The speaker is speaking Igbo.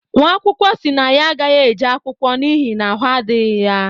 nwaakwụkwọ si na ya agaghi-eje akwụkwọ n’ihi na ahụ adighi ya